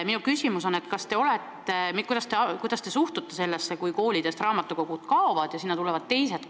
Kuidas te suhtute sellesse, kui koolidest raamatukogud kaovad ja asemele tuleb midagi muud?